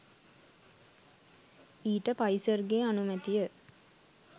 ඊට පයිසර් ගේ අනුමැතිය